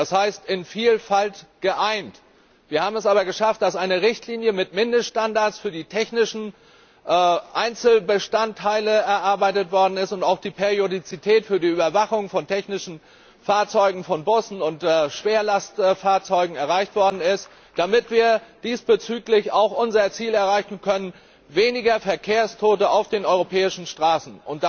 Es heißt in Vielfalt geeint, wir haben es aber geschafft, dass eine Richtlinie mit Mindeststandards für die technischen Einzelbestandteile erarbeitet worden ist und auch die Periodizität für die Überwachung von technischen Fahrzeugen, von Bussen und Schwerlastfahrzeugen erreicht worden ist, damit wir diesbezüglich auch unser Ziel erreichen können weniger Verkehrstote auf den europäischen Straßen.